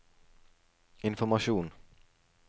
informasjon